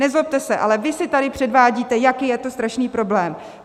Nezlobte se, ale vy se tady předvádíte, jaký je to strašný problém.